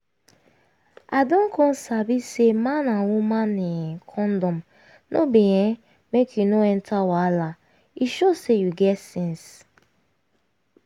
i don come sabi say man and woman um condom no be[um]make you no enter wahala e show say you get sense